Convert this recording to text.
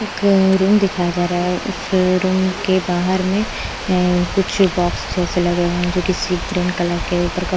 एक रूम दिखाया जा रहा है उस रूम के बाहर में कुछ अ बॉक्स जैसे लगे हुए हैं जो किसी ग्रीन कलर के ऊपर क--